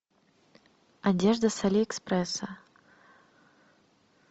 одежда с алиэкспресса